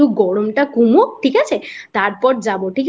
একটু গরম টা কমুক ঠিক আছে? তারপরে যাবো ঠিক আছে।